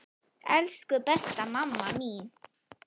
Elsku besta mamma mín.